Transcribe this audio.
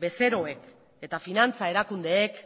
bezeroek eta finantza erakundeek